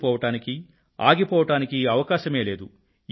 అలసిపోవడానికీ ఆగిపోవడానికీ అవకాశమే లేదు